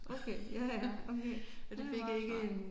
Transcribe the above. Okay ja ja okay det er meget smart